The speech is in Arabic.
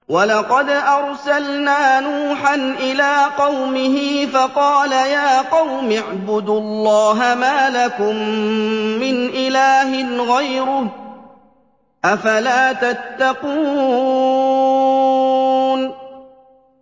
وَلَقَدْ أَرْسَلْنَا نُوحًا إِلَىٰ قَوْمِهِ فَقَالَ يَا قَوْمِ اعْبُدُوا اللَّهَ مَا لَكُم مِّنْ إِلَٰهٍ غَيْرُهُ ۖ أَفَلَا تَتَّقُونَ